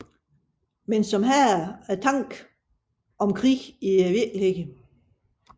Men som hader tanken om krig i virkeligheden